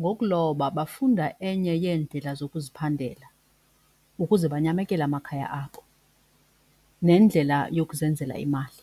Ngokuloba bafunda enye yeendlela zokuziphandela ukuze banyamekele amakhaya abo nendlela yokuzenzela imali.